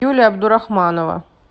юлия абдурахманова